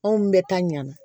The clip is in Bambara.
Anw bɛ taa ɲamana